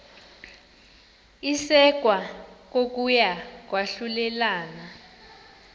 isekwa kokuya kwahlulelana